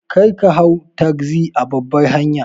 Karka hau tagzi a babbar hanya.